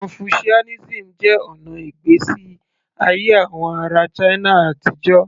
Confucianism jẹ́ ọ̀nà ìgbésí ayé àwọn ará china àtijọ́